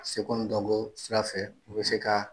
Seko ni dɔnko sira fɛ u bɛ se ka